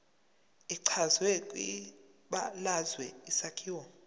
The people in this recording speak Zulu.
echazwe kwibalazwe isakhiwo